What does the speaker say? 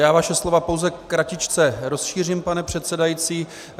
Já vaše slova pouze kratičce rozšířím, pane předsedající.